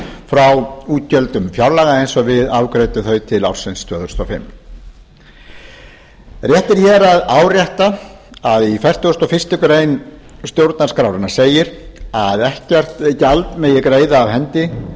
frá útgjöldum fjárlaga eins og við afgreiddum þau til ársins tvö þúsund og fimm rétt er hér að árétta að í fertugustu og fyrstu grein stjórnarskrárinnar segir að ekkert gjald megi greiða af hendi